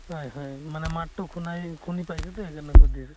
হয় হয় মানে মাত টো শুনাই শুনি পাইছো তো সেই কাৰণে সুধিছো।